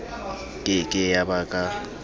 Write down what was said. ke ke ya ba ka